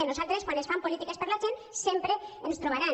a nosaltres quan es fan polítiques per a la gent sempre ens hi trobaran